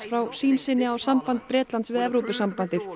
frá sýn sinni á samband Bretlands við Evrópusambandið